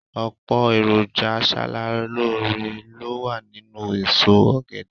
Ọ̀pọ̀ èròjà aṣaralóore ló wà nínú èso ọ̀gẹ̀dẹ̀